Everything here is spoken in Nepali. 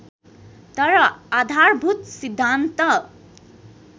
तर आधारभूत सिद्धान्त